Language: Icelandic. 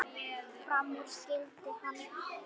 Fram úr skyldi hann.